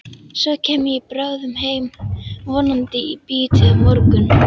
Svo kem ég bráðum heim, vonandi í bítið á morgun.